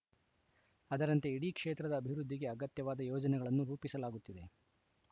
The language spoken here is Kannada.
ಅದರಂತೆ ಇಡೀ ಕ್ಷೇತ್ರದ ಅಭಿವೃದ್ಧಿಗೆ ಅಗತ್ಯವಾದ ಯೋಜನೆಗಳನ್ನು ರೂಪಿಸಲಾಗುತ್ತಿದೆ